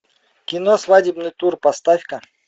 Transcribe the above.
кино свадебный тур поставь ка